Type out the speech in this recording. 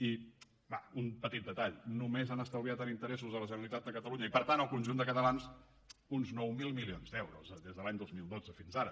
i va un petit detall només han estalviat en interessos a la generalitat de catalunya i per tant al conjunt de catalans uns nou mil milions d’euros des de l’any dos mil dotze fins ara